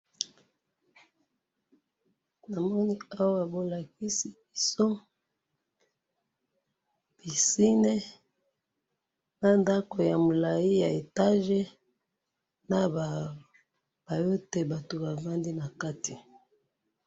Namoni awa bolakisi biso piscine na ndakou ya moulayi ya etage naba paillotte batou bafandi nakati.